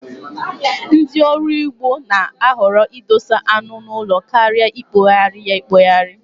Ndị ọrụ ugbo na-ahọrọ idosa anu n'ụlọ karịa ikpohari ya akpohari